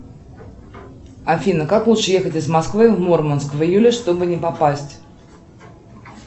афина как лучше ехать из москвы в мурманск в июле чтобы не попасть